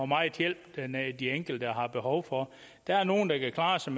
meget hjælp de enkelte har behov for der er nogle der kan klare sig